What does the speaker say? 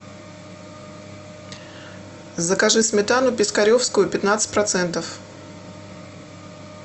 закажи сметану пискаревскую пятнадцать процентов